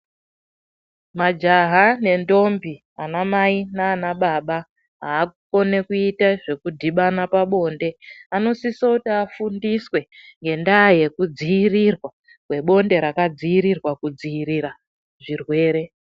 Majaha nendombi ana mai nana baba akukona kuita zvekudhibana pabonde anosisa kufindiswa ngenda yekudzirira nebonde yakadzirirwa zvirwere.